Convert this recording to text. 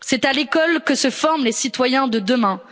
C'est à l'école que se forment les citoyens de demain.